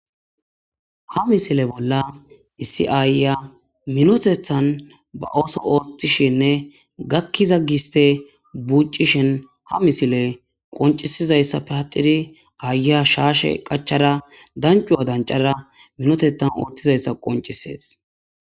Ha misile bolla issi aaya minotethan ba oso ooththishinne gakkiza giste bucishin ha misile qoncisizayssa patiri aaya shaashe qachara dancuwa dancara minotethan oottizayssa qoncisees.